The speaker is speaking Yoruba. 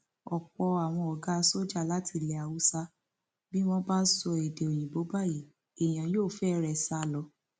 ọpọ àwọn ọgá sójà láti ilẹ haúsá bí wọn bá sọ èdè òyìnbó báyìí èèyàn yóò fẹre sá lọ